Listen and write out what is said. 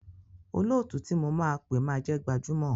Olóòtú tí mo máa pé máa jẹ́ gbajúmọ̀.